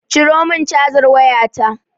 Ciro min cazar wayata